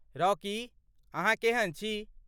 Rocky, अहाँ केहन छी?